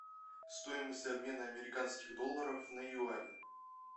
стоимость обмена американских долларов на юани